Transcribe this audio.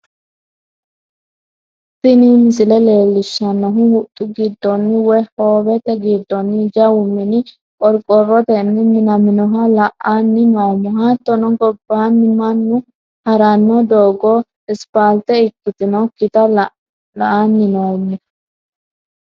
tini misile leellishshannohu huxxu giddoonni woy hoowete giddoonni jawu mini qoroqorotenni minaminoha la'anni noommo, hattono gobbaanni mannu ha'ranno doogo isipaalte ikkitinokkita la'anni noommo.